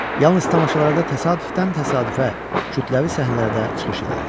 Yalnız tamaşalarda təsadüfdən təsadüfə kütləvi səhnələrdə çıxış eləyirdi.